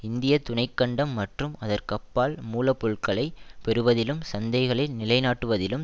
இந்திய துணை கண்டம் மற்றும் அதற்கப்பால் மூல பொருட்களை பெறுவதிலும் சந்தைகளை நிலைநாட்டுவதிலும்